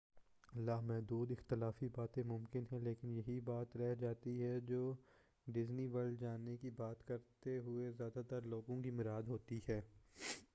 لامحدود اختلافی باتیں ممکن ہیں لیکن یہی بات رہ جاتی ہے جو ڈزنی ورلڈ جانے کی بات کرتے ہوئے زیادہ تر لوگوں کی مراد ہوتی ہے